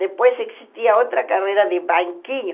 Depois existia outra carreira de banquinho.